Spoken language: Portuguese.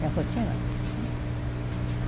Minha rotina? Uhum